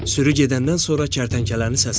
Sürü gedəndən sonra kərtənkələni səslədi.